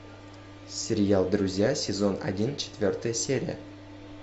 сериал друзья сезон один четвертая серия